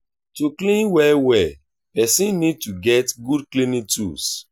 to clean well well person need to get good cleaning tools